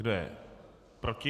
Kdo je proti?